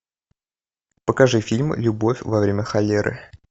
покажи фильм любовь во время холеры